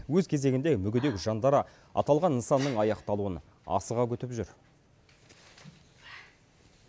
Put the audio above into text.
өз кезегінде мүгедек жандары аталған нысанның аяқталуын асыға күтіп жүр